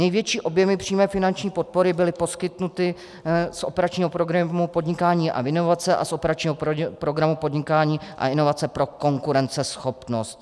Největší objemy přímé finanční podpory byly poskytnuty z operačního programu Podnikání a inovace a z operačním programu Podnikání a inovace pro konkurenceschopnost.